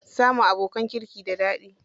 Samun abokanan kirki da daɗi.